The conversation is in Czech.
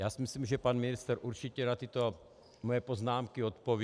Já si myslím, že pan ministr určitě na tyto moje poznámky odpoví.